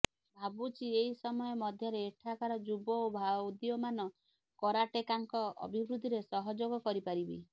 ଭାବୁଛି ଏହି ସମୟ ମଧ୍ୟରେ ଏଠାକାର ଯୁବ ଓ ଉଦୀୟମାନ କରାଟେକାଙ୍କ ଅଭିବୃଦ୍ଧିରେ ସହଯୋଗ କରିପାରିବି